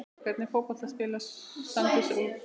Hvernig fótbolta spilar Sandnes Ulf?